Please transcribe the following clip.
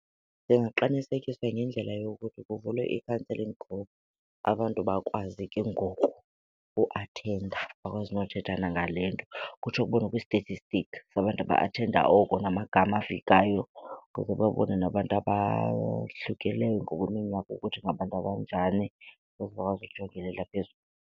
Ndingaqinisekisa ngendlela yokuthi kuvulwe i-counselling group abantu bakwazi ke ngoku uathenda, bakwazi nokuthetha nangale nto. Kutsho kubonwe kwi-statistic sabantu aba-athenda oko namagama afikayo ukuze babone nabantu abahlukileyo ngokweminyaka ukuthi ngabantu abanjani, ukuze akwazi ujongelela .